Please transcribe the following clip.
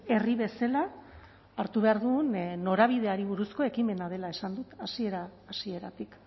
herri bezala hartu behar duen norabideari buruzko ekimena dela esan dut hasiera hasieratik